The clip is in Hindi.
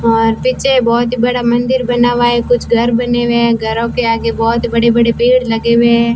और पिछे बहोत बड़ा मंदिर बना हुआ है कुछ घर बने हुए हैं घरों के आगे बहोत ही बड़े बड़े पेड़ लगे हुए हैं।